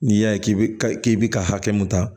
N'i y'a ye k'i bɛ k'i bi ka hakɛ mun ta